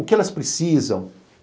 O que elas precisam?